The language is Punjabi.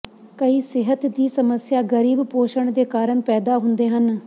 ਕਈ ਸਿਹਤ ਦੀ ਸਮੱਸਿਆ ਗਰੀਬ ਪੋਸ਼ਣ ਦੇ ਕਾਰਨ ਪੈਦਾ ਹੁੰਦੇ ਹਨ